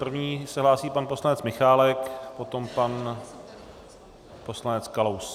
První se hlásí pan poslanec Michálek, potom pan poslanec Kalous.